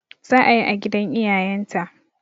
Za'a yi a gidan iyayen ta